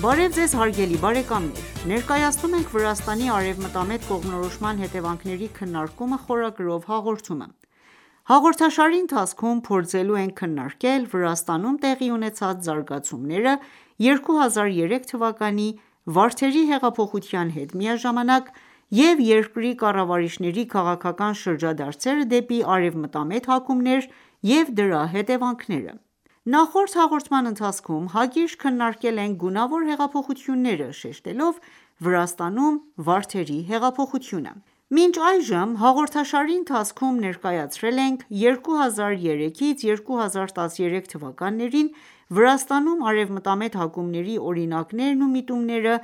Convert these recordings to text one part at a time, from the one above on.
Բարև ձեզ հարգելի բարեկամներ: Ներկայացնում ենք «Վրաստանի արևմտամետ կողմնորոշման հետևանքների քննարկումը» խորագրով հաղորդումը:Հաղորդաշարի ընթացքում, փորձելու ենք քննարկել Վրաստանում տեղի ունեցած զարգացումները՝ 2003 թվականի Վարդերի հեղափոխության հետ միաժամանակ և երկրի կառավարիչների քաղաքական շրջադարձերը դեպի արևմտամետ հակումներ և դրա հետևանքները:Նախորդ հաղորդման ընթացքում հակիրճ քննարկել ենք գունավոր հեղափոխությունները ,շեշտելով Վրաստանում ,Վարդերի հեղափոխությունը: Մինչ այժմ ,հաղորդաշարի ընթացքում ներկայացրել ենք 2003-ից 2013 թվականներին Վրաստանում արևմտամետ հակումների օրինակներն ու միտումները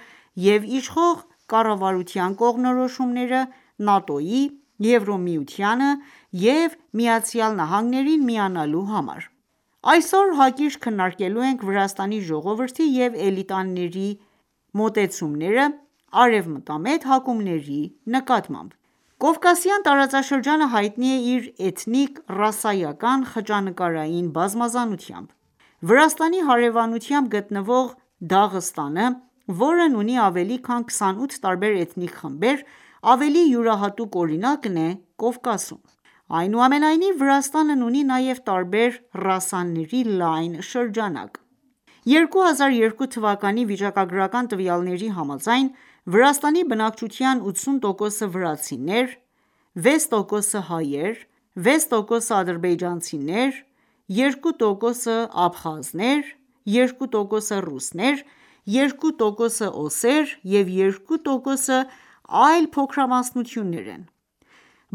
և իշխող կառավարության կողմնորոշումները՝ ՆԱՏՕ-ին, Եվրամիությանը և ԱՄՆ-ին միանալու համար: Այսօր հակիրճ քննարկելու ենք Վրաստանի ժողովրդի և էլիտաների մոտեցումները արևմտամետ հակումների նկատմամբ: Կովկասյան տարածաշրջանը հայտնի է իր էթնիկ-ռասայական խճանկարային բազմազանությամբ: Վրաստանի հարեւանությամբ գտնվող Դաղստանը, որն ունի ավելի քան 28 տարբեր էթնիկ խմբեր, ավելի յուրահատուկ օրինակն է Կովկասում: Այնուամենայնիվ, Վրաստանն ունի նաև տարբեր ռասաների լայն շրջանակ: 2002 թվականի վիճակագրական տվյալների համաձայն, Վրաստանի բնակչության 80% վրացիներ, 6% հայեր, 6% ադրբեջանցիներ, 2% աբխազներ, 2% ռուսներ, 2% օսեր և 2% այլ փոքրամասնություններ են: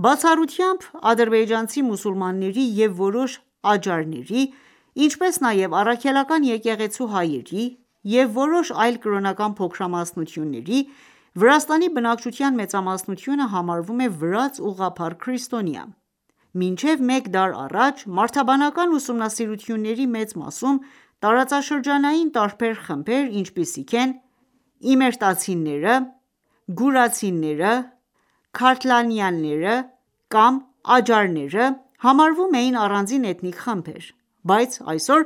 Բացառությամբ ադրբեջանցի մուսուլմանների և որոշ աջարների, ինչպես նաև Առաքելական եկեղեցու հայերի և որոշ այլ կրոնական փոքրամասնությունների, Վրաստանի բնակչության մեծամասնությունը համարվում է վրաց ուղղափառ քրիստոնյա: Մինչև մեկ դար առաջ մարդաբանական ուսումնասիրությունների մեծ մասում տարածաշրջանային տարբեր խմբեր, ինչպիսիք են՝ իմրետացիները, գուրացիները, քարթլիաները կամ աջարները, համարվում էին առանձին էթնիկ խմբեր, բայց այսօր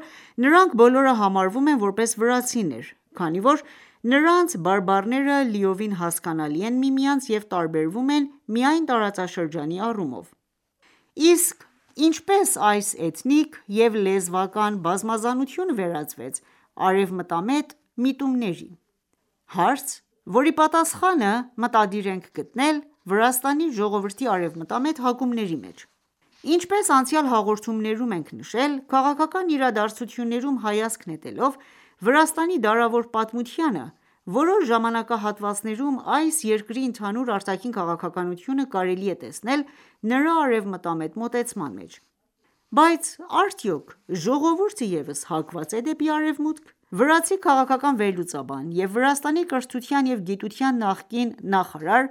նրանք բոլորը համարվում են ,որպես վրացիներ, քանի որ նրանց բարբառները լիովին հասկանալի են միմյանց և տարբերվում են միայն տարածաշրջանի առումով: Իսկ ինչպե՞ս այս էթնիկ և լեզվական բազմազանությունը վերածվեց արևմտամետ միտումների: Հարց, որի պատասխանը մտադիր ենք գտնել Վրաստանի ժողովրդի արևմտամետ հակումների մեջ: Ինչպես անցյալ հաղորդումներում ենք նշել, քաղաքական իրադարձություններում հայացք նետելով Վրաստանի դարավոր պատմությանը, որոշ ժամանակահատվածներում այս երկրի ընդհանուր արտաքին քաղաքականությունը կարելի է տեսնել նրա արևմտամետ մոտեցման մեջ։ Բայց արդյո՞ք ժողովուրդը ևս հակված է դեպի արևմուտք։ Վրացի քաղաքական վերլուծաբան և Վրաստանի կրթության և գիտության նախկին նախարար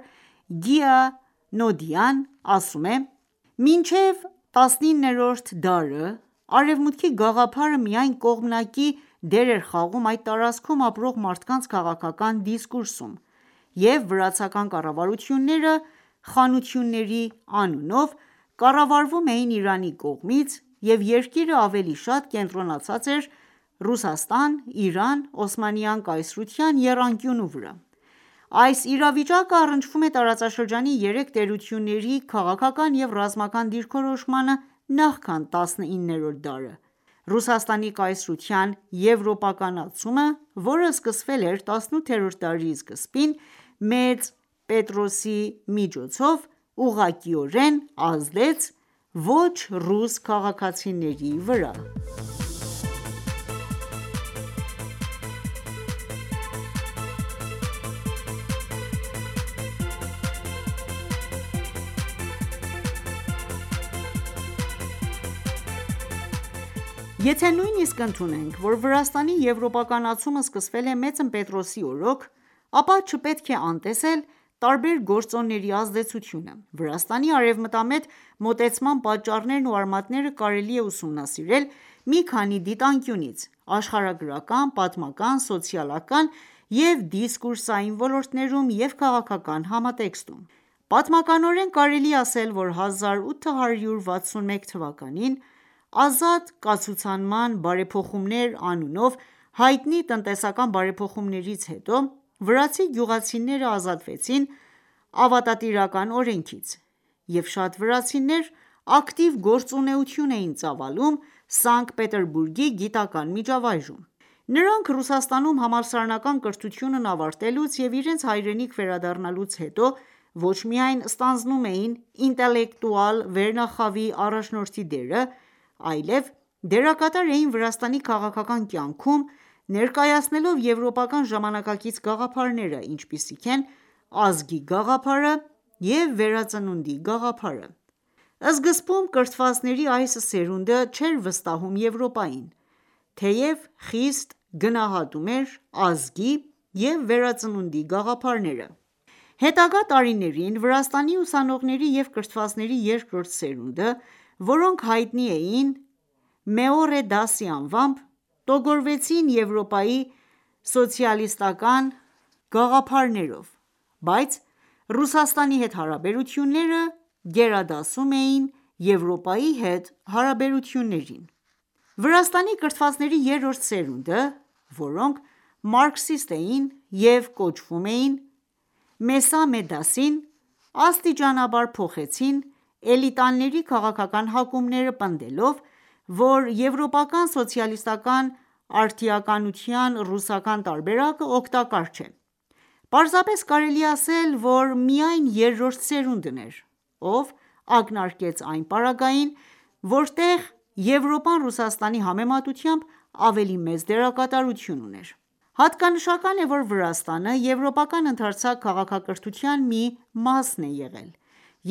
Գիա Նոդիան ասում է.« Մինչև 19-րդ դարը «արևմուտքի» գաղափարը միայն կողմնակի դեր էր խաղում այդ տարածքում ապրող մարդկանց քաղաքական դիսկուրսում և վրացական կառավարությունները՝ խանությունների անունով, կառավարվում էին Իրանի կողմից, և երկիրը ավելի շատ կենտրոնացած էր Ռուսաստան-Իրան-Օսմանյան կայսրության եռանկյունու վրա։ Այս իրավիճակը առնչվում է, տարածաշրջանի երեք տերությունների քաղաքական և ռազմական դիրքորոշմանը՝ նախքան 19-րդ դարը: Ռուսաստանի կայսրության եվրոպականացումը, որը սկսվել էր տասնութերորդ դարի սկզբին մեծն Պետրոսի միջոցով, ուղղակիորեն ազդեց ոչ ռուս քաղաքացիների վրա: Եթե ​​նույնիսկ ընդունենք, որ Վրաստանի եվրոպականացումը սկսվել է մեծն Պետրոսի օրոք, ապա չպետք է անտեսել տարբեր գործոնների ազդեցությունը։ Վրաստանի արևմտամետ մոտեցման պատճառներն ու արմատները կարելի է ուսումնասիրել մի քանի դիտանկյունից՝աշխարհագրական, պատմական, սոցիալական և դիսկուրսային ոլորտներում և քաղաքական համատեքստում: Պատմականորեն, կարելի է ասել ,որ 1861 թվականին «ազատ կացուցանման բարեփոխումներ» անունով հայտնի տնտեսական բարեփոխումներից հետո, վրացի գյուղացիները ազատվեցին ավատատիրական օրենքից, և շատ վրացիներ ակտիվ գործունեություն էին ծավալում Սանկտ Պետերբուրգի գիտական ​​միջավայրում: Նրանք, Ռուսաստանում համալսարանական կրթությունն ավարտելուց և իրենց հայրենիք վերադառնալուց հետո, ոչ միայն ստանձնում էին ինտելեկտուալ վերնախավի առաջնորդի դերը, այլև դերակատար էին Վրաստանի քաղաքական կյանքում, ներկայացնելով եվրոպական ժամանակակից գաղափարները, ինչպիսիք են՝ ազգի գաղափարը և վերածնունդի գաղափարը։ Սկզբում կրթվածների այս սերունդը, չէր վստահում Եվրոպային, թեև խիստ գնահատում էր ազգի և վերածնունդի գաղափարները: Հետագա տարիներին Վրաստանի ուսանողների և կրթվածների երկրորդ սերունդը, որոնք հայտնի էին, Meore dasi անվամբ, տոգորվեցին Եվրոպայի սոցիալիստական ​​գաղափարներով: Բայց Ռուսաստանի հետ հարաբերությունները գերադասում էին Եվրոպայի հետ հարաբերություններին։ Վրաստանում Իսլամի և քրիստոնյաների խաղաղ գոյակացությունը Վրաստանի կրթվածների երրորդ սերունդը՝ ,որոնք մարքսիստ էին և կոչվում էին Մեսամե Դասին, աստիճանաբար փոխեցին էլիտաների քաղաքական հակումները՝ պնդելով, որ եվրոպական սոցիալիստական ​​արդիականության ռուսական տարբերակը օգտակար չէ։ Պարզապես կարելի է ասել ,որ միայն երրորդ սերունդն էր ,ով ակնարկեց այն ապագային ,որտեղ Եվրոպան Ռուսաստանի համեմատությամբ ավելի մեծ դերակատարություն ուներ: Հատկանշական է, որ Վրաստանը եվրոպական ընդարձակ քաղաքակրթության մի մասն է եղել,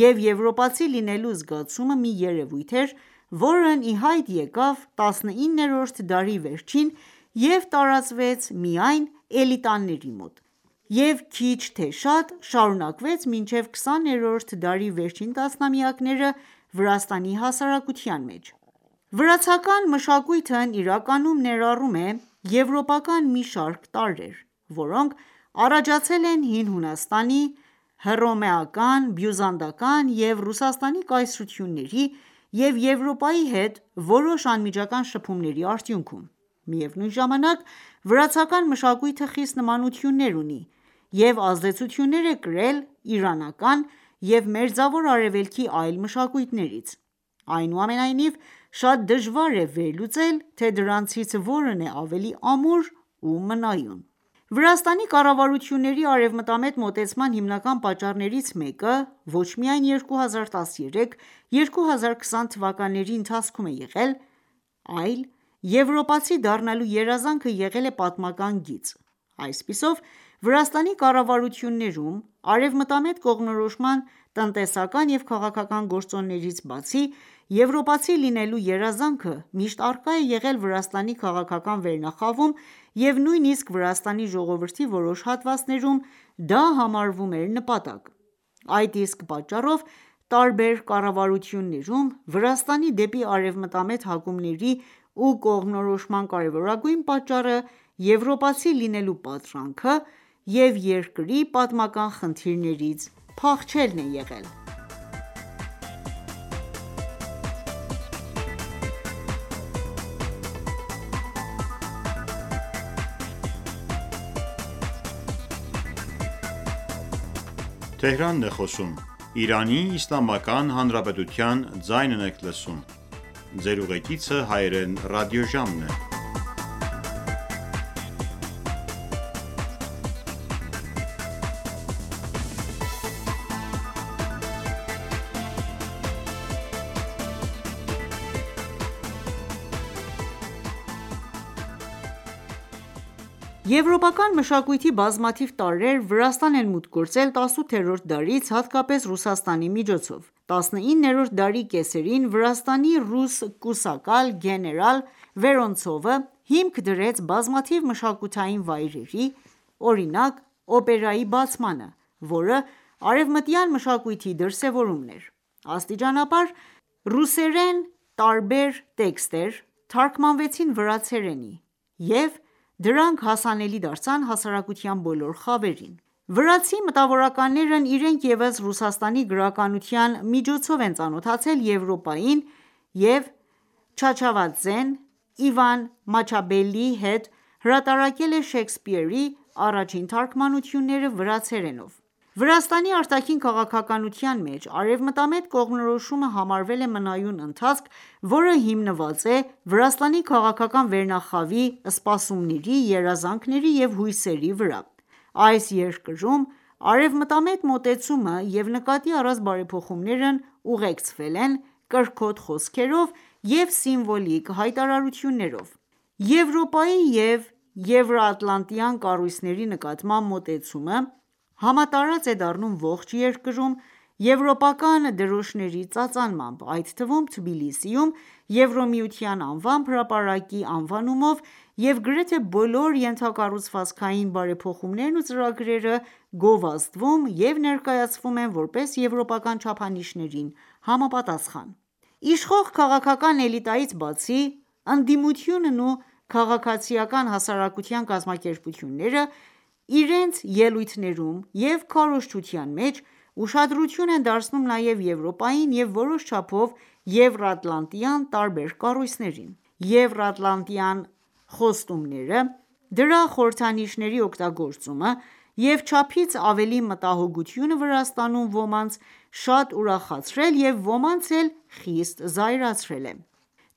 և եվրոպացի լինելու զգացումը մի երևույթ էր, որն ի հայտ եկավ տասնիններորդ դարի վերջին և տարածվեց միայն էլիտաների մոտ և քիչ թե շատ շարունակվեց մինչև 20-րդ դարի վերջին տասնամյակները Վրաստանի հասարակության մեջ: Վրացական մշակույթն իրականում ներառում է եվրոպական մի շարք տարրեր, որոնք առաջացել են Հին Հունաստանի, Հռոմեական, Բյուզանդական և Ռուսաստանի կայսրությունների և Եվրոպայի հետ որոշ անմիջական շփումների արդյունքում: Միևնույն ժամանակ, վրացական մշակույթը խիստ նմանություններ ունի և ազդեցություններ է կրել իրանական և մերձավոր արևելքի այլ մշակույթներից: Այնուամենայնիվ, շատ դժվար է վերլուծել, թե դրանցից որն է ավելի ամուր ու մնայուն։ Վրաստանի կառավարությունների արևմտամետ մոտեցման հիմնական պատճառներից մեկը ոչ միայն 2013-2020 թվականների ընթացքում է եղել, այլ ՝«եվրոպացի դառնալու երազանքը»եղել է պատմական գիծ։ Այսպիսով, Վրաստանի կառավարություններում արևմտամետ կողմնորոշման տնտեսական և քաղաքական գործոններից բացի, եվրոպացի լինելու երազանքը միշտ առկա է եղել Վրաստանի քաղաքական վերնախավում և նույնիսկ Վրաստանի ժողովրդի որոշ հատվածներում դա համարվում էր ՝նպատակ: Այդ իսկ պատճառով, տարբեր կառավարություններում Վրաստանի՝ դեպի արևմտամետ հակումների ու կողմնորոշման կարևորագույն պատճառը եվրոպացի լինելու պատրանքը և երկրի պատմական խնդիրներից փախչելն է եղել։ Խաչի խորհրդանիշը՝ Վրաստանում ներկայացնում է արևմտյան հայեցակետը Եվրոպական մշակույթի բազմաթիվ տարրեր Վրաստան են մուտք գործել 18-րդ դարից, հատկապես Ռուսաստանի միջոցով։19-րդ դարի կեսերին, Վրաստանի ռուս կուսակալ գեներալ Վերոնցովը հիմք դրեց բազմաթիվ մշակութային վայրերի, օրինակ՝ օպերայի բացմանը, որը արևմտյան մշակույթի դրսևորումն էր։ Աստիճանաբար ռուսերեն տարբեր տեքստեր թարգմանվեցին վրացերենի և դրանք հասանելի դարձան հասարակության բոլոր խավերին։ Վրացի մտավորականներն իրենք ևս Ռուսաստանի գրականության միջոցով են ծանոթացել Եվրոպային և Չավչավաձեն, Իվան Մաչաբելիի հետ հրապարակել է Շեքսպիրի առաջին թարգմանությունները վրացերենով ։Վրաստանի արտաքին քաղաքականության մեջ արևմտամետ կողմնորոշումը համարվել է մնայուն ընթացք ,որը հիմնված է Վրաստանի քաղաքական վերնախավի սպասումների, երազանքների և հույսերի վրա։ Այս երկրում արևմտամետ մոտեցումը և նկատի առած բարեփոխումներն ուղեկցվել են կրքոտ խոսքերով և սիմվոլիկ հայտարարություններով: Եվրոպայի և եվրատլանտյան կառույցների նկատմամբ մոտեցումը համատարած է դառնում ողջ երկրում՝ եվրոպական դրոշների ծածանմամբ, այդ թվում՝ Թբիլիսիում Եվրամիության անվամբ հրապարակի անվանումով և գրեթե բոլոր ենթակառուցվածքային բարեփոխումներն ու ծրագրերը գովազդվում և ներկայացվում են որպես՝ եվրոպական չափանիշներին համապատասխան։ Իշխող քաղաքական էլիտայից բացի, ընդդիմությունն ու քաղաքացիական հասարակության կազմակերպությունները իրենց ելույթներում և քարոզչության մեջ ուշադրություն են դարձնում նաև Եվրոպային և որոշ չափով եվրաատլանտյան տարբեր կառույցներին։ Եվրատլանտյան խոստումները, դրա խորհրդանիշների օգտագործումը և չափից ավելի մտահոգությունը Վրաստանում ոմանց շատ ուրախացրել և ոմանց՝ էլ խիստ զայրացրել է: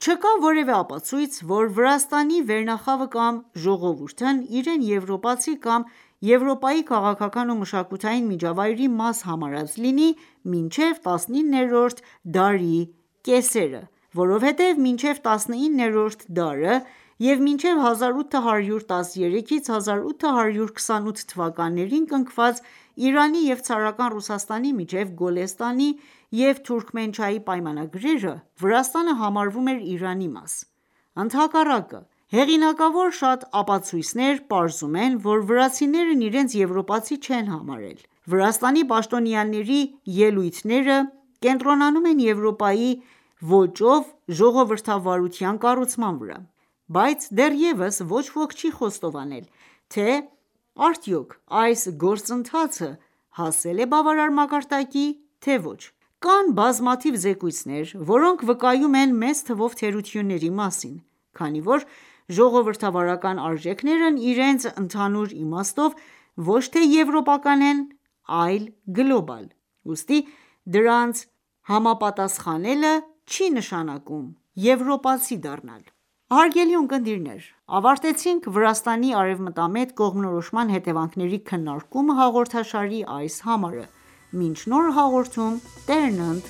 Չկա որևէ ապացույց, որ Վրաստանի վերնախավը կամ ժողովուրդն իրեն եվրոպացի կամ Եվրոպայի քաղաքական և մշակութային միջավայրի մաս համարած լինի մինչև տասնիններորդ դարի կեսերը, որովհետև մինչև տասնիններորդ դարը և մինչև 1813 -ից 1828 թվականներին կնքված Իրանի և ցարական Ռուսաստանի միջև Գոլեստանի և Թուրքմենչայի պայմանագրերը Վրաստանը համարվում էր Իրանի մաս։ Ընդհակառակը, հեղինակավոր շատ ապացույցներ, պարզում են ,որ վրացիներն իրենց եվրոպացի չեն համարել։ Վրաստանի պաշտոնյաների ելույթները կենտրոնանում են Եվորպայի ոճով ժողովրդավարության կառուցման վրա: Բայց դեռևս ոչ ոք չի խոստովանել, թե արդյոք այս գործընթացը հասել է բավարար մակարդակի ,թե՝ ոչ: Կան բազմաթիվ զեկույցներ, որոնք վկայում են մեծ թվով թերությունների մասին: Քանի որ ժողովրդավարական արժեքներն իրենց ընդհանուր իմաստով ոչ թե եվրոպական են, այլ գլոբալ, ուստի դրանց համապատասխանելը չի ​​նշանակում եվրոպացի դառնալ։ Հարգելի ունկնդիրներ, ավարտեցինք «Վրաստանի արևմտամետ կողմնորոշման հետևանքների քննարկումը» հաղորդաշարի այս համարը, մինչ նոր հաղորդում Տերն ընդ